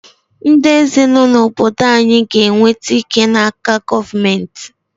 Ndị eze nọ n’obodo anyị ga-enweta ike n’aka gọọmentị.